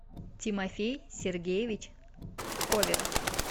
тимофей сергеевич коверов